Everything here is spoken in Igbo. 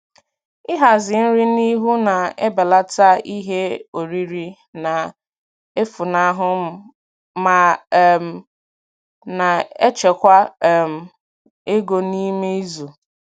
Ịhazi nri n'ihu na-ebelata ihe oriri na-efunahụ ma um na-echekwa um ego n'ime izu.